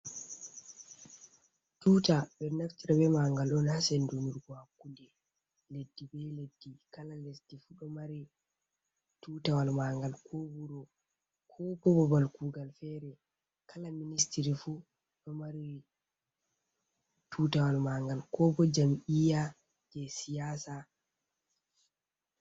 Tuta ɓeɗo naftira be magal on ha senduturgo hakkunde leddi be leddi, kala leddi fu ɗo mari tutawal mangal, ko wuro, ko bo bobal kugal fere, kala ministiri fu ɗo mari tutawal mangal, ko bo jam’iya je siyasa.